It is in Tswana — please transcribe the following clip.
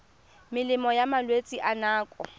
melemo ya malwetse a nako